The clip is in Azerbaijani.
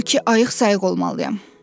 Odur ki, ayıq-sayıq olmalıyam.